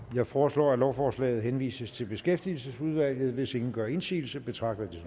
jeg foreslår at lovforslaget henvises til beskæftigelsesudvalget hvis ingen gør indsigelse betragter